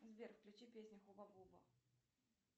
сбер включи песню хуба буба